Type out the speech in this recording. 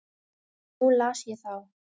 Nú las ég þá.